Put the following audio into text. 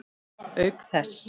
Auk þess.